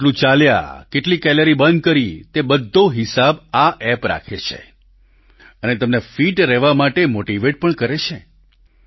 તમે કેટલું ચાલ્યા કેટલી કેલરી બર્ન કરી તે બધો હિસાબ આ એપ રાખે છે અને તમને ફિટ રહેવા માટે મોટીવેટ પણ કરે છે